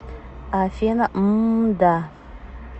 афина мм да